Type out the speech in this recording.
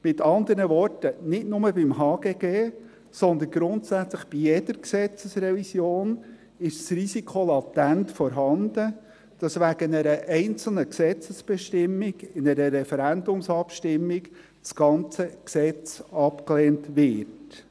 Mit andern Worten: Nicht nur beim HGG, sondern grundsätzlich bei jeder Gesetzesrevision ist das Risiko latent vorhanden, dass wegen einer einzelnen Gesetzesbestimmung in einer Referendumsabstimmung das ganze Gesetz abgelehnt wird.